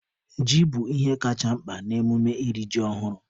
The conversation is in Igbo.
Ji bụ ihe kacha mkpa na emume iri ji ọhụrụ.